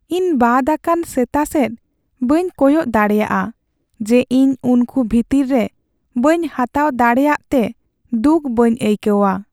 ᱤᱧ ᱵᱟᱫ ᱟᱠᱟᱱ ᱥᱮᱛᱟ ᱥᱮᱫ ᱵᱟᱹᱧ ᱠᱚᱭᱚᱜ ᱫᱟᱲᱮᱭᱟᱜᱼᱟ ᱡᱮ ᱤᱧ ᱩᱱᱠᱩ ᱵᱷᱤᱛᱤᱨ ᱨᱮ ᱵᱟᱹᱧ ᱦᱟᱛᱟᱣ ᱫᱟᱲᱮᱭᱟᱜᱼᱛᱮ ᱫᱩᱠ ᱵᱟᱹᱧ ᱟᱹᱭᱠᱟᱹᱣᱟ ᱾